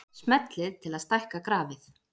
Smellið til að stækka grafið.